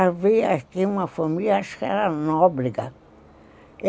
Havia aqui uma família, acho que era Nobrega.